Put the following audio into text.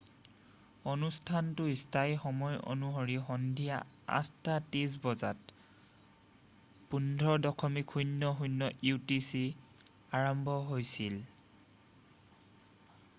অনুষ্ঠানটো স্থানীয় সময় অনুসৰি সন্ধিয়া ৮:৩০ বজাত ১৫.০০ utc আৰম্ভ হৈছিল।